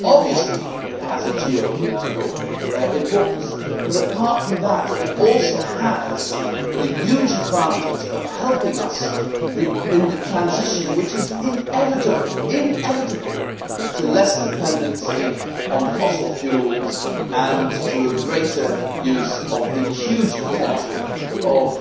Obviously it has a geopolitical importance but, apart from that, it also has the huge advantage of helping us in the transition which is inevitable to less dependency on fossil fuels and to a greater use of the huge potential of